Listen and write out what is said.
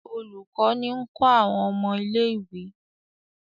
Olùkó ní ń kó àwọn ọmọ ilé-ìwé.